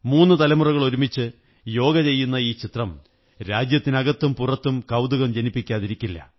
മൂന്നു തലമുറകൾ ഒരുമിച്ച് യോഗ ചെയ്യുന്ന ഈ ചിത്രം രാജ്യത്തിനകത്തും പുറത്തും കൌതുകം ജനിപ്പിക്കാതിരിക്കില്ല